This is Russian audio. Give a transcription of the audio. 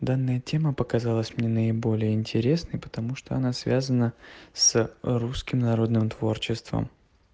данная тема показалась мне наиболее интересной потому что она связана с русским народным творчеством